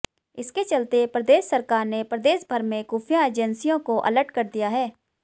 इसके चलते प्रदेश सरकार ने प्रदेशभर में खुफिया एजेंसियों को अलर्ट कर दिया है